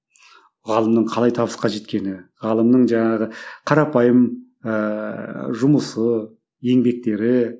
ғалымның қалай табысқа жеткені ғалымның жаңағы қарапайым ыыы жұмысы еңбектері